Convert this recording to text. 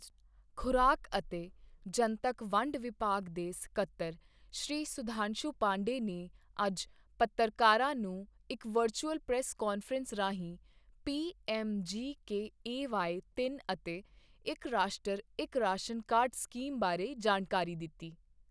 ਖੁਰਾਕ ਅਤੇ ਜਨਤਕ ਵੰਡ ਵਿਭਾਗ ਦੇ ਸਕੱਤਰ ਸ਼੍ਰੀ ਸੁਧਾਂਸ਼ੂ ਪਾਂਡੇ ਨੇ ਅੱਜ ਪੱਤਰਕਾਰਾਂ ਨੂੰ ਇੱਕ ਵਰਚੁਅਲ ਪ੍ਰੈਸ ਕਾਨਫਰੰਸ ਰਾਹੀਂ ਪੀਐਮਜੀਕੇਏਵਾਈ ਤਿੰਨ ਅਤੇ ਇੱਕ ਰਾਸ਼ਟਰ, ਇੱਕ ਰਾਸ਼ਨ ਕਾਰਡ ਸਕੀਮ ਬਾਰੇ ਜਾਣਕਾਰੀ ਦਿੱਤੀ।